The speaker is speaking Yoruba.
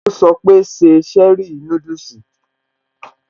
Ó sọ pé, 'Se cherie núdùsì'